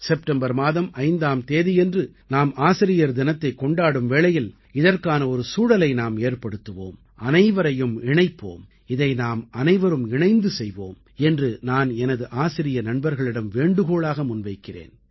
September மாதம் 5ஆம் தேதியன்று நாம் ஆசிரியர் தினத்தைக் கொண்டாடும் வேளையில் இதற்கான ஒரு சூழலை நாம் ஏற்படுத்துவோம் அனைவரையும் இணைப்போம் இதை நாமனைவரும் இணைந்து செய்வோம் என்று நான் ஆசிரிய நண்பர்களிடம் வேண்டுகோளாக முன்வைக்கிறேன்